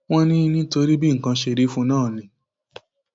wọn ní nítorí bí nǹkan ṣe rí fún un náà ni